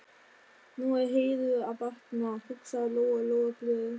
Nú er Heiðu að batna, hugsaði Lóa Lóa glöð.